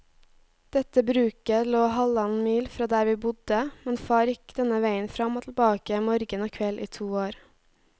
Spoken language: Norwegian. Dette bruket lå halvannen mil fra der vi bodde, men far gikk denne veien fram og tilbake morgen og kveld i to år.